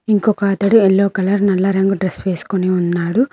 ఇంకొక అతడు yellow colour నల్ల రంగు డ్రెస్ వేసుకుని ఉన్నాడు.